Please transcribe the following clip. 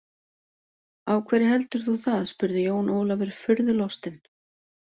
Af hverju heldur þú það spurði Jón Ólafur furðulostinn.